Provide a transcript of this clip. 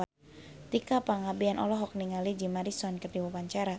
Tika Pangabean olohok ningali Jim Morrison keur diwawancara